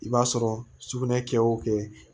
I b'a sɔrɔ sugunɛ kɛ o kɛ